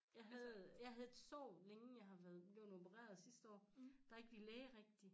Jeg havde jeg havde et sår længe jeg har været bleven opereret sidste år der ikke ville læge rigtigt